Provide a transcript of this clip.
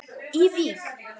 í Vík.